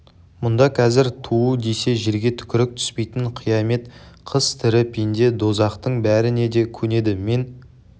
мұнда қазір туу десе жерге түкірік түспейтін қиямет қыс тірі пенде дозақтың бәріне де көнеді мен